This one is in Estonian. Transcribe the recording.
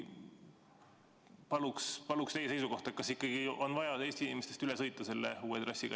Palun teie seisukohta, kas ikkagi on vaja Eesti inimestest üle sõita selle uue trassiga.